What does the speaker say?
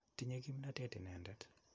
Tinye kimnotet inendet.